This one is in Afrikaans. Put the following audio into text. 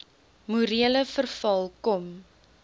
morele verval kom